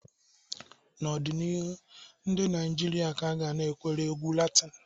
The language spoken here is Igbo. N'ọdịnihu, ndị Naijiria ga-anakwere egwu Latini.